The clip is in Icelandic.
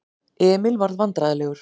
Emil varð vandræðalegur.